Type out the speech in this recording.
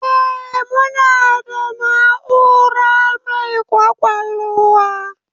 Eh, muna da na'ura mai kwakwalwa